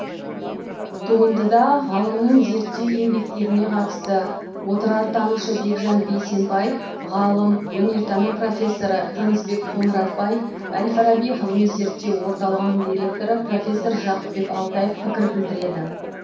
туындыда ғалымның зерттеу еңбектеріне қатысты отырартанушы бекжан бейсенбай ғалым өнертану профессоры тынысбек қоңыратбай әл фараби ғылыми зерттеу орталығының директоры профессор жақыпбек алтаев пікір білдіреді